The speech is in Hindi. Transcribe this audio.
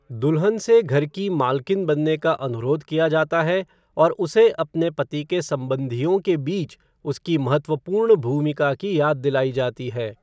दुल्हन से घर की मालकिन बनने का अनुरोध किया जाता है और उसे अपने पति के सम्बन्धियों के बीच उसकी महत्वपूर्ण भूमिका की याद दिलाई जाती है।